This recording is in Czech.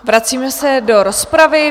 Vracíme se do rozpravy.